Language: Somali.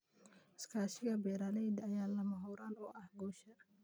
Iskaashiga beeralayda ayaa lama huraan u ah guusha.